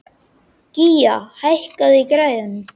Gía, hækkaðu í græjunum.